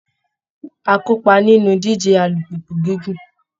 Á kópa nínú ìdíje alùpùpù gígùn